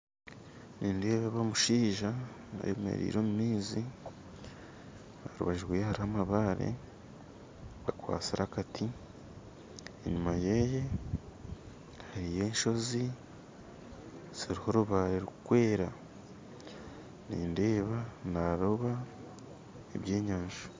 Nindeeba omushaija ayemereire omu maizi aha rubaju rwe hariho amabaare akwatsire akati enyuma ye hariyo enshozi ziriho orubaare rurikwera nindeeba naroba eby'enyanja